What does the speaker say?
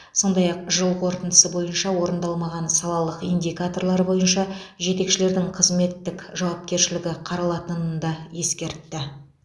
сондай ақ жыл қорытындысы бойынша орындалмаған салалық индикаторлар бойынша жетекшілердің қызметтік жауапкершілігі қаралатынын да ескертті